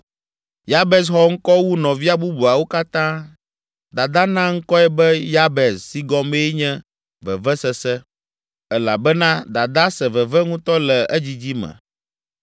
Yabez xɔ ŋkɔ wu nɔvia bubuawo katã. Dadaa na ŋkɔe be, Yabez si gɔmee nye, “Vevesese” elabena dadaa se veve ŋutɔ le edzidzi me.